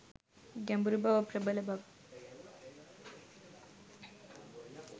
ගැඹුරුබව, ප්‍රබල බව